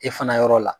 E fana yɔrɔ la